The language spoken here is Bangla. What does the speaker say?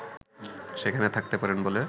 সেখানে থাকতে পারেন বলে